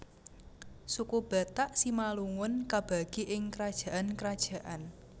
Suku Batak Simalungun kabagi ing krajaan krajaan